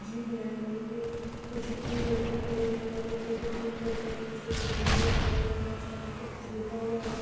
Gym है जो कि कुछ तीन लड़के खड़े हैं जो फोटो क्लिक कर रहे हैं। पीछे एक बैनर लगा हुआ है शायद उसपे कुछ लिखा हुआ है।